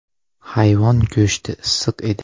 Hayvon go‘shti issiq edi”.